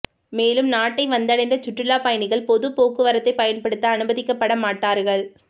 மேலும் நாட்டை வந்தடைந்த சுற்றுலாப் பயணிகள் பொது போக்குவரத்தைப் பயன்படுத்த அனுமதிக்கப்பட மாட்டார்கள்